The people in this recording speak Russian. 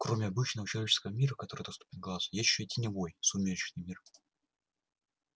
кроме обычного человеческого мира который доступен глазу есть ещё теневой сумеречный мир